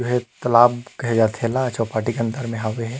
हे कलाब के खेला चौपाटी के अंदर में हवे हे ।